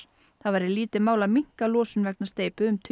það væri lítið mál að minnka losun vegna steypu um tugi